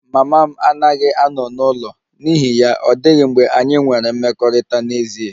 Mama m anaghị ano n'ụlọ n'ihi ya, ọ dịghị mgbe anyị nwere mmekọrịta n'ezie